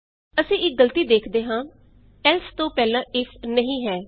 ਅਸੀਂ ਇਕ ਗਲਤੀ ਵੇਖਦੇ ਹਾਂ160 ਏਲਸ ਤੋਂ ਪਹਿਲਾਂ ਇਫ ਨਹੀਂ ਹੈ